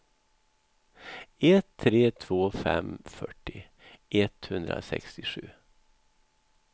ett tre två fem fyrtio etthundrasextiosju